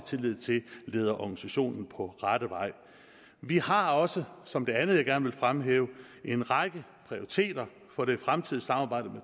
tillid til leder organisationer på rette vej vi har også som det andet jeg gerne vil fremhæve en række prioriteter for det fremtidige samarbejde